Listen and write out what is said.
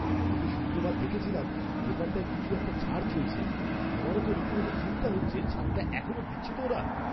গত শুক্রবার দেখেছিলাম দোকানটায় কিছু একটা ছাড় চলছে। আমার তো রীতিমত চিন্তা হচ্ছে ছাড়টা এখনও দিচ্ছে তো ওরা!